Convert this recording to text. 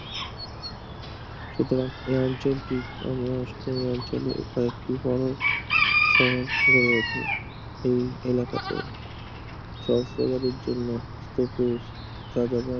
সুতরাং এ অঞ্চলটি অঞ্চলের প্রায় একটি গড়ন সহ গড়ে ওঠে এই এলাকাতে সহস্রবাদের জন্য স্তূপের যাযাবর